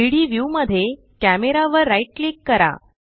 3डी व्यू मध्ये कॅमेरा वर राइट क्लिक करा